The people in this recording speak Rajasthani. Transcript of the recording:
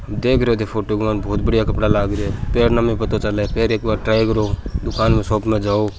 देख रियो थे फोटो के मेन बहुत बढ़िया लागरे है पेरना में पता --